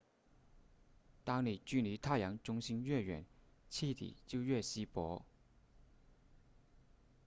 当你距离太阳中心越远气体就越稀薄